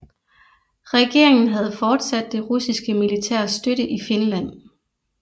Regeringen havde fortsat det russiske militærs støtte i Finland